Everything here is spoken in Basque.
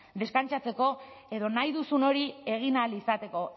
deskantsatzeko edo nahi duzun hori egin ahal izateko